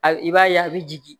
A i b'a ye a bɛ jigin